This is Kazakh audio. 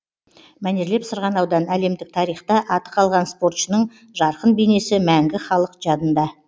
мәнерлеп сырғанаудан әлемдік тарихта аты қалған спортшының жарқын бейнесі мәңгі халық жадында